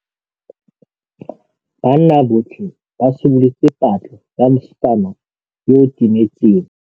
Banna botlhê ba simolotse patlô ya mosetsana yo o timetseng.